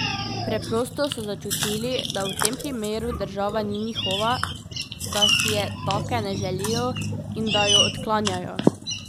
Preprosto so začutili, da v tem primeru država ni njihova, da si je take ne želijo in da jo odklanjajo.